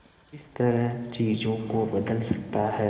किस तरह चीजों को बदल सकता है